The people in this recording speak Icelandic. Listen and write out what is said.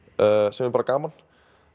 sem er bara gaman